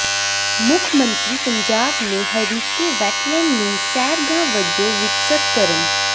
ਮੁੱਖ ਮੰਤਰੀ ਪੰਜਾਬ ਨੇ ਹਰੀਕੇ ਵੈਟਲੈਂਡ ਨੂੰ ਸੈਰਗਾਹ ਵਜੋਂ ਵਿਕਸਤ ਕਰਨ